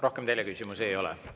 Rohkem teile küsimusi ei ole.